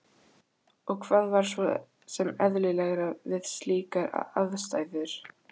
Og hvað var svo sem eðlilegra við slíkar aðstæður?